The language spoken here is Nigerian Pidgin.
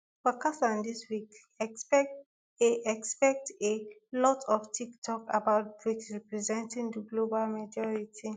for kazan dis week expect a expect a lot of toktok about brics representing di global majority